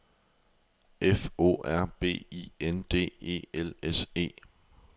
F O R B I N D E L S E